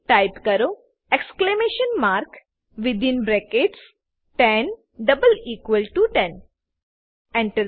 type કરો exclamation mark within brackets 10 double equal to 10 Enter